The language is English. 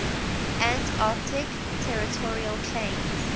antarctic territorial claims